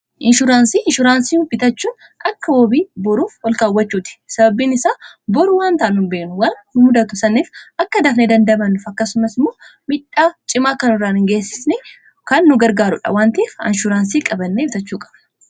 inshuraansii inshuraansii bitachuun akka wabii boruuf ol kaawwachuuti sababni isaa boru waan taanu hin beeknu wan nudatu saniif akka dafnee dandabannuf akkasumas imoo midhaa cimaa kanuraa hingeessni kan nu gargaarudha waan ta'ef inshuraansii qabannee bitachuu qaba